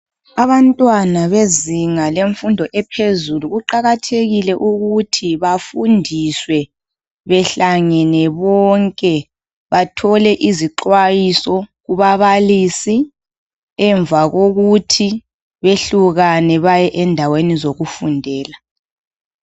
Abantwana bezinga lemfundo ephezulu kuqakathekile ukuthi bafundiswe behlangene bonke bathole izixwayiso kubabalisi emva kokuthi behlukane baye endaweni zokufundela.